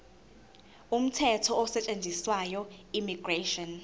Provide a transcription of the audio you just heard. umthetho osetshenziswayo immigration